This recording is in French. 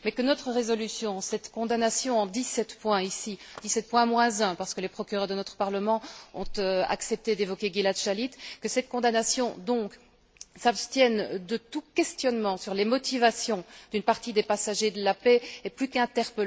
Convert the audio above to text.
Mais que notre résolution, cette condamnation en dix sept points ici dix sept points moins un parce que les procureurs de notre Parlement ont accepté d'évoquer Gilad Shalit que cette condamnation, donc, s'abstienne de tout questionnement sur les motivations d'une partie des passagers de la paix est plus que sidérant.